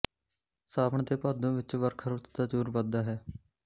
ਸਾਵਣ ਤੇ ਭਾਦੋ ਵਿੱਚ ਵਰਖਾ ਰੁੱਤ ਦਾ ਜੋਰ ਵਧਦਾ ਹੈ